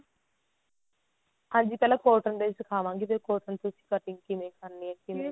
ਹਾਂਜੀ ਪਹਿਲਾਂ cotton ਤੇ ਹੀ ਸਿਖਾਵਾਂਗੀ ਵੀ cotton ਤੇ cutting ਕਿਵੇਂ ਕਰਨੀ ਹੈ ਕਿਵੇਂ